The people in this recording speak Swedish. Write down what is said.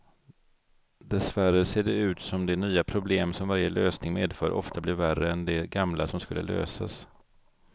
Dessvärre ser det ut som de nya problem som varje lösning medför ofta blir värre än de gamla som skulle lösas.